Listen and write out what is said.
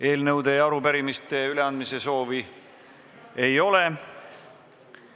Eelnõude ja arupärimiste üleandmise soovi ei ole.